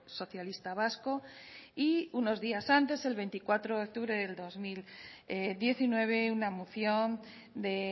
socialista vasco y unos días antes el veinticuatro de octubre del dos mil diecinueve una moción de